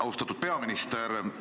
Austatud peaminister!